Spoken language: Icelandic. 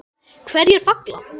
Hverjir falla?